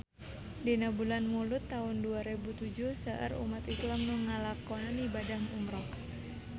Dina bulan Mulud taun dua rebu tujuh seueur umat islam nu ngalakonan ibadah umrah